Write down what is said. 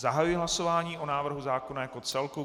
Zahajuji hlasování o návrhu zákona jako celku.